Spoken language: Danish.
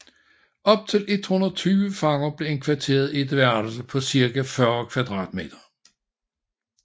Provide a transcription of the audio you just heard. Op til 120 fanger blev indkvarteret i et værelse på cirka 40 m²